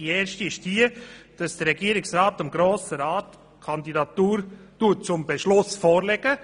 Die erste will, dass der Regierungsrat die Kandidatur dem Grossen Rat zum Beschluss vorlegt.